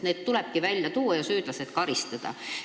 Need tulebki avalikkuse ette tuua ja süüdlased peavad saama karistada.